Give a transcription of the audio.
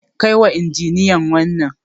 Kai wa injiniyan wannan.